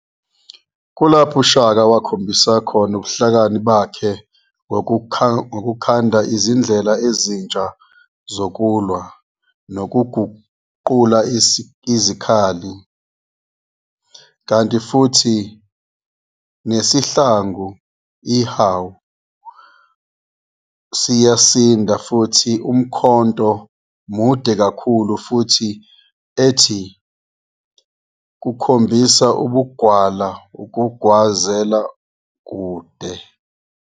Kulapha uShaka akhombisa ubuhlakani bakhe ngokukhanda izindlela ezintsha zokulwa, nokuguqula izikhali. Kanti futhi nesihlangu, ihawu, siyasinda futhi umkhonto mude kakhulu futhi ethi kukhombisa ubugwala ukugwazela kude.